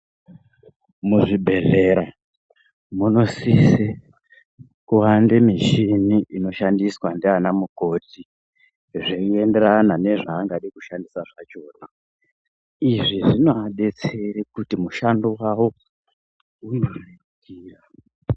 Muzvibhedhlera munosise kuwande mishini inoshandiswa ndiana mukoti zveienderana nezvaangada kushandisa zvachona izvi zvinovadetsere kuti mushando wavo uvarerukire.